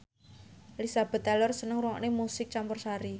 Elizabeth Taylor seneng ngrungokne musik campursari